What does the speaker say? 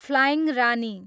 flying Rani